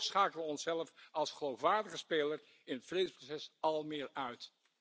Zo schakelen we onszelf als geloofwaardige speler in het vredesproces almaar meer uit.